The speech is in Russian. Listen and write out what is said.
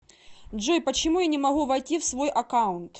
джой почему я не могу войти в свой аккаунт